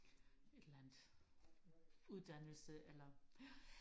et eller andet uddannelse eller